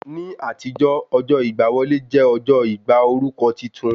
Ní àtijọ́, ọjọ́ ìgbà wọlé jẹ́ ọjọ́ ìgbà orúkọ titun